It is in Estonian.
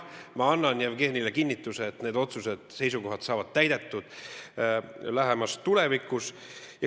Ma annan Jevgenile kinnituse, et jah, need otsused ja seisukohad saavad täide viidud lähemas tulevikus.